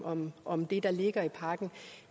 om om det der ligger i pakken